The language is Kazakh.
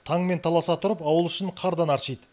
таңмен таласа тұрып ауыл ішін қардан аршиды